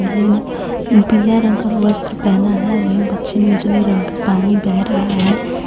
पीला रंग का वस्त्र पहना है वही बच्चे उजले रंग का पानी बह रहा है.